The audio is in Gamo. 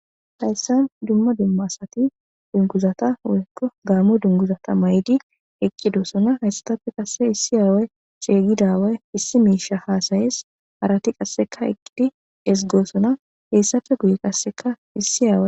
Hayssan dumma dumma asati dunguzata woyykko gaamo dunguzata may'idi eqqidossona hayssatappe qasse issi aawe ceygidawey issi miisha haasayees harati qasseka eqqidi esgoosona heyssafe guye qasseka issi aawe.